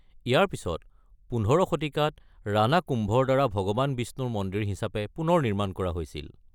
ইয়াৰ পিছত ১৫ শতিকাত ৰাণা কুম্ভৰ দ্বাৰা ভগৱান বিষ্ণুৰ মন্দিৰ হিচাপে পুনৰ নিৰ্মাণ কৰা হৈছিল।